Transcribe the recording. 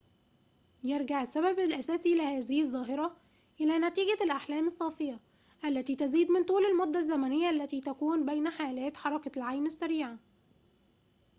يرجع السبب الأساسي لهذه الظاهرة إلى نتيجة الأحلام الصافية التي تزيد من طول المدة الزمنية التي تكون بين حالات حركة العين السريعة